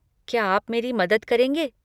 क्या आप मेरी मदद करेंगे?